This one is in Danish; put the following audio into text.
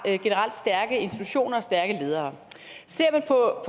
stærke institutioner og stærke ledere ser man på